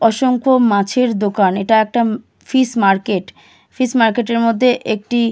অসংখ মাছের দোকান। এটা একটা ম ফিশ মার্কেট । ফিশ মার্কেটের মধ্যে একটি --